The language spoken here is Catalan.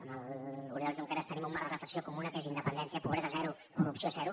amb l’oriol junqueras tenim un marc de reflexió comuna que és independència pobresa zero corrupció zero